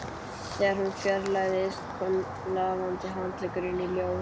Þegar hún fjarlægðist kom lafandi handleggurinn í ljós